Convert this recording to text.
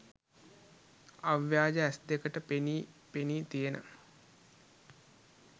අව්‍යාජ ඇස්දෙකට පෙනි පෙනී තියෙන